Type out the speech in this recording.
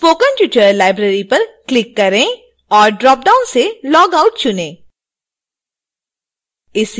spoken tutorial library पर click करें और ड्रॉपडाउन से logout चुनें